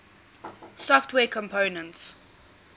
software components